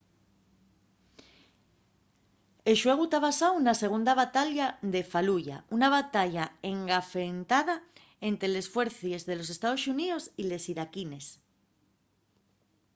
el xuegu ta basáu na segunda batalla de faluya una batalla engafentada ente les fuercies de los estaos xuníos y les iraquines